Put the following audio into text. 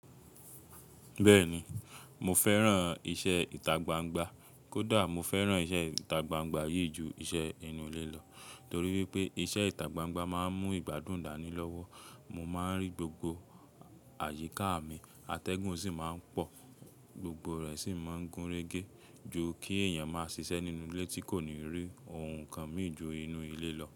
Bẹ́ẹ̀ni mo fẹ́ran iṣẹ́ ìtagbangba. Kódà mo fẹ́ran iṣẹ́ ìtagbangba yìí ju iṣẹ́ inú ilé lọ, torí wípé iṣẹ́ ìtagbangba máa ń mú ìgbádùn dání lọ́wọ́. Mo máa ń rí gbogbo àyíká mi, atẹ́gùn sì máa ń pọ̀, gbogbo rẹ̀ sì máa ń gúnrégé ju kí èèyàn máa ṣiṣẹ́ nínú ilé tí kò ní rí ohun kan mìí ju inú ilé lọ.